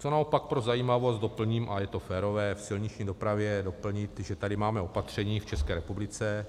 Co naopak pro zajímavost doplním, a je to férové v silniční dopravě doplnit, že tady máme opatření v České republice: